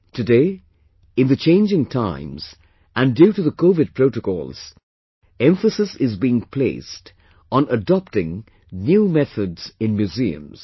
Today, in the changing times and due to the covid protocols, emphasis is being placed on adopting new methods in museums